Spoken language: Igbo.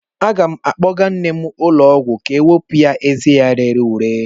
Aga m akpọga nne m ụlọ ọgwụ ka ọ wepụ ezé ya rere ure.